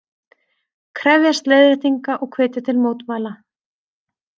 Krefjast leiðréttinga og hvetja til mótmæla